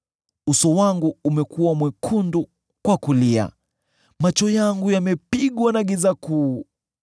Uso wangu umekuwa mwekundu kwa kulia, macho yangu yamepigwa na giza kuu.